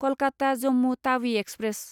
Kolkata Jammu Tawi express